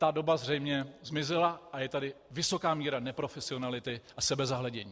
Ta doba zřejmě zmizela a je tady vysoká míra neprofesionality a sebezahledění.